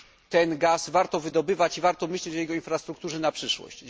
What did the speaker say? Ten gaz warto wydobywać i warto myśleć o jego infrastrukturze na przyszłość.